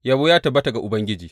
Yabo ya tabbata ga Ubangiji!